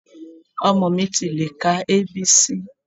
Ọmọ mi ti lè ka A. B. C.